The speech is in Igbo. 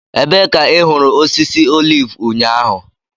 Ebee ka ị hụrụ osisi oliv ụnyaahụ?